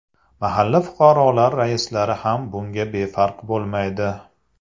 Mahalla fuqarolar raislari ham bunga befarq bo‘lmaydi.